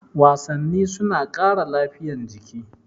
Wasanni suna ƙara lafiya jiki